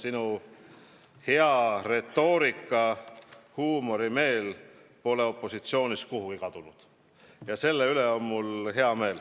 Minu meelest pole sinu hea retoorika ja huumorimeel ka opositsioonis olles kuhugi kadunud ja selle üle on mul hea meel.